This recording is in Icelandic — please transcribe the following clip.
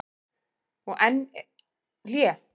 Og enn hlé.